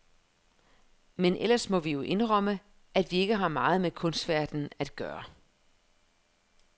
Men ellers må vi jo indrømme, at vi ikke har meget med kunstverdenen at gøre.